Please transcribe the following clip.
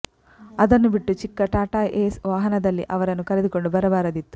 ಅದನ್ನು ಬಿಟ್ಟು ಚಿಕ್ಕ ಟಾಟಾ ಏಸ್ ವಾಹನದಲ್ಲಿ ಅವರನ್ನು ಕರೆಕೊಂಡು ಬರಬಾರದಿತ್ತು